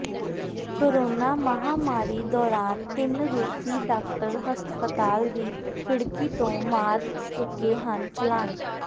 corona ਮਹਾਮਾਰੀ ਦੌਰਾਨ ਤਿੰਨ ਰੂਸੀ ਡਾਕਟਰ ਹਸਪਤਾਲ ਦੀ ਖਿੜਕੀ ਤੋਂ ਮਾਰ ਚੁੱਕੇ ਹਨ ਛਲਾਂਗ